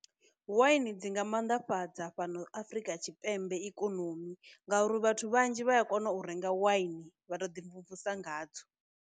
Waini dzi nga mannḓafhadza fhano afrika tshipembe ikonomi ngauri vhathu vhanzhi vha a kona u renga waini vha to ḓi mvumvusa nga dzo.